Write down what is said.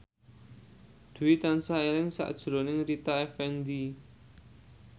Dwi tansah eling sakjroning Rita Effendy